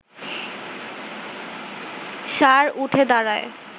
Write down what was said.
ষাঁড় উঠে দাঁড়ায়